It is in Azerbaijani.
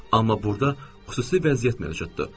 Amma burda xüsusi vəziyyət mövcuddur.